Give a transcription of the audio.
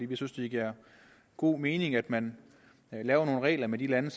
vi synes det giver god mening at man laver nogle regler med de lande